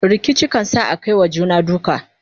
rikici kan sa Akai wa juna duka